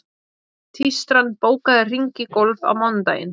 Tístran, bókaðu hring í golf á mánudaginn.